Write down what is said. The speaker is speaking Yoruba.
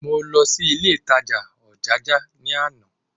Mo lọ sí ilé ìtajà Ojaja ní àná